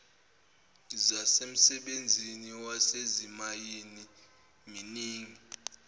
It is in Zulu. zasemsebenzini wasezimayini mining